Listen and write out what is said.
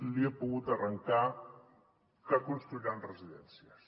li he pogut arrencar que cons·truiran residències